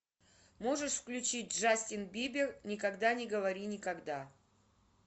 можешь включить джастин бибер никогда не говори никогда